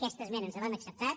aquesta esmena ens l’han acceptat